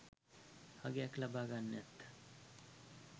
අගයක් ලබා ගන්නත්